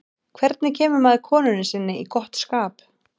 hvernig kemur maður konunni sinni í gott skap